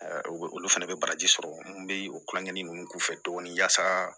o bɛ olu fɛnɛ bɛ bagaji sɔrɔ n bɛ o kulonkɛ nin k'u fɛ tuguni yasa